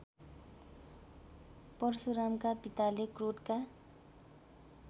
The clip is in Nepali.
परशुरामका पिताले क्रोधका